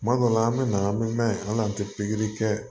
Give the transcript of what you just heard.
Kuma dɔ la an bɛ na an bɛ n'a ye hali n'an tɛ pikiri kɛ